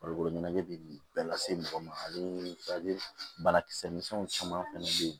Farikolo ɲɛnajɛ bɛ bɛɛ lase mɔgɔ ma ale banakisɛ min caman fana bɛ yen